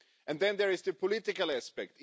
Then there is the political aspect.